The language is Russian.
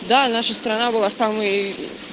да наша страна была самой